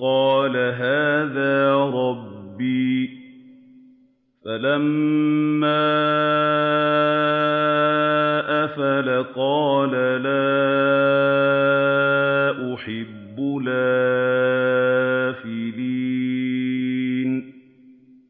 قَالَ هَٰذَا رَبِّي ۖ فَلَمَّا أَفَلَ قَالَ لَا أُحِبُّ الْآفِلِينَ